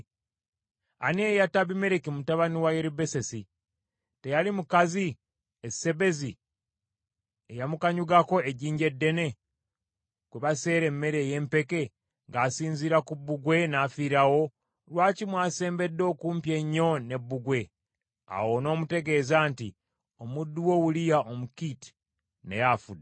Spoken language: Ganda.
Ani eyatta Abimereki mutabani wa Yerubbesesi? Teyali mukazi e Sebezi eyamukanyugako ejjinja eddene, kwe baseera emmere ey’empeke, ng’asinziira ku bbugwe, n’afiirawo? Lwaki mwasembedde okumpi ennyo ne bbugwe?’ Awo onoomutegeeza nti, ‘Omuddu wo Uliya Omukiiti naye afudde.’ ”